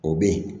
O bɛ yen